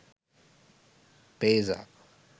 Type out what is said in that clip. payza